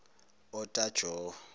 otajowo